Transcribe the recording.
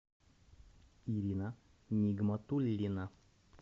ирина нигматуллина